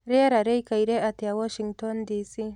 rĩera rĩĩkaĩre atĩa washington D.C